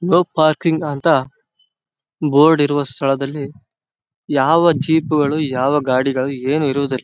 No parking ಅಂತ board ಇರುವ ಸ್ಥಳದಲ್ಲಿ ಯಾವ ಜೀಪ್ ಗಳು ಯಾವ ಗಾಡಿಗಳು ಏನು ಇರುವುದಿಲ್ಲ.